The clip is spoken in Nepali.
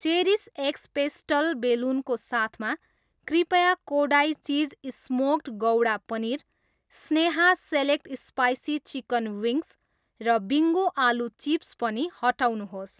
चेरिस एक्स पेस्टल बेलुन को साथमा, कृपया Kodai cheese smoked gouda paneer, Sneha select spicy chicken wings र बिङ्गो आलु चिप्स पनि हटाउनुहोस्।